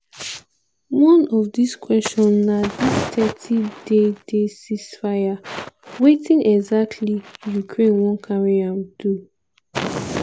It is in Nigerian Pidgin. one of dis question na dis thirty day day ceasefire wetin exactly ukraine wan carry am do?